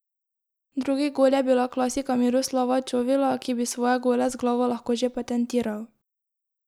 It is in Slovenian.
Drugi gol je bila klasika Miroslava Čovila, ki bi svoje gole z glavo lahko že patentiral.